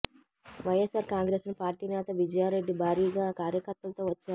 YSR Congress party నేత విజయా రెడ్డి భారీగా కార్యకర్తలతో వచ్చారు